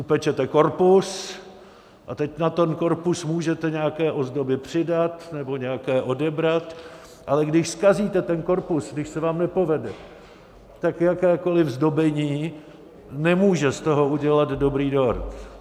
Upečete korpus a teď na ten korpus můžete nějaké ozdoby přidat, nebo nějaké odebrat, ale když zkazíte ten korpus, když se vám nepovede, tak jakékoliv zdobení nemůže z toho udělat dobrý dort.